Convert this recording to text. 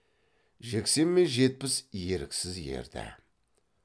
жексен мен жетпіс еріксіз ерді